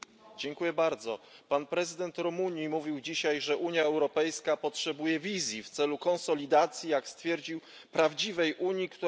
Prezydent Rumunii mówił dzisiaj, że Unia Europejska potrzebuje wizji w celu konsolidacji jak stwierdził prawdziwej unii, która patrzy w przyszłość.